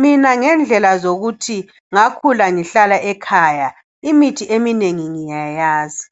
Mina ngendlela zokuthi ngakhula ngihlala ekhaya imithi eminengi ngiyayazi.